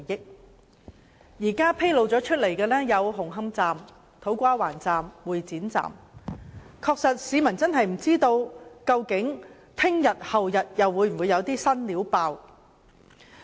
現時已揭露有工程問題的車站是紅磡站、土瓜灣站及會展站，市民真的不知道究竟明天、後天會否又有"新料"爆出。